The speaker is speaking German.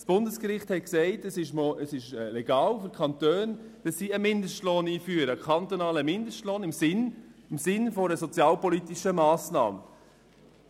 Das Bundesgericht hat in diesem Sommer entschieden, dass es für die Kantone legal sei, einen kantonalen Mindestlohn im Sinn einer sozialpolitischen Massnahme einzuführen.